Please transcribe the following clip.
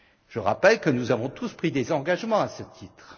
PIB. Je rappelle que nous avons tous pris des engagements à ce titre